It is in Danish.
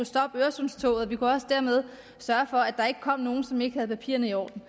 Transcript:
stoppe øresundstoget og vi kunne også dermed sørge for at der ikke kom nogen som ikke havde papirerne i orden